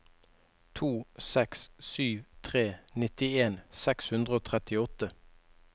to seks sju tre nittien seks hundre og trettiåtte